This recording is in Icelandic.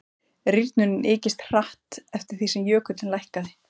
rýrnunin ykist hratt eftir því sem jökullinn lækkaði